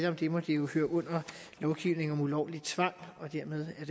om det må det jo høre under lovgivning om ulovlig tvang og dermed er